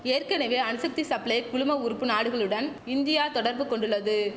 ஏற்கனவே அணுசக்தி சப்ளை குழும உறுப்பு நாடுகளுடன் இந்தியா தொடர்பு கொண்டுள்ளது